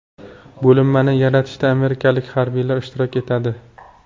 Bo‘linmani yaratishda amerikalik harbiylar ishtirok etadi.